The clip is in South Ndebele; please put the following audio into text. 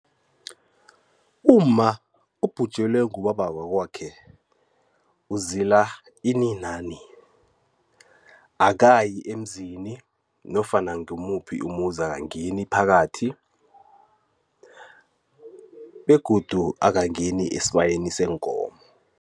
Umma obhujelwe ngubaba wakwakhe uzila ini nani? Akayi emzini nofana ngumuphi umuzi akangeni phakathi begodu akangeni esibayeni seenkomo.